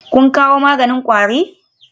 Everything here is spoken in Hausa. Kun kawo maganin kwari?